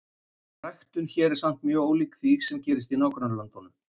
Ræktun hér er samt mjög ólík því, sem gerist í nágrannalöndunum.